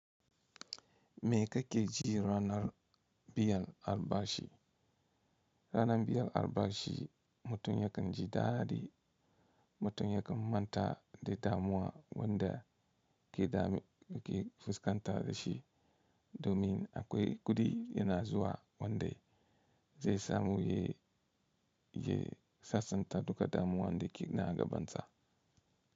Me ka keji ranar biyar albashi? Ranar biyar albashi mutum yake ji daɗi, mutum yake manta da damuwa wanda ke fuskanta da shi, domin akwai kuɗi yana zuwa wanda zai samu, ya sasanta duka damuwa wanda yake nagabansa.